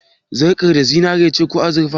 Sarƙar da zinare ce ko azurfa?